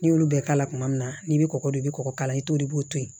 N'i y'olu bɛɛ k'a la kuma min na n'i bɛ kɔgɔ don i bɛ kɔgɔ k'a la i t'o i b'o toyi